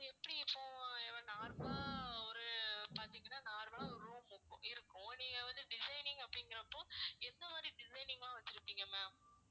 எப்படி இப்போ normal ஆ ஒரு பார்த்தீங்கன்னா normal ஆ ஒரு room இருக்கும் இருக்கும் நீங்க வந்து designing அப்படிங்கிறப்போ எந்த மாதிரி designing ஆ வெச்சிருப்பிங்க ma'am